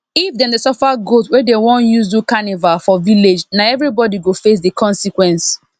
if dem dey suffer goat wey dem won use do carnival for village na everybody go face the consequence